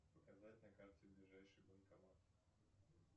показать на карте ближайший банкомат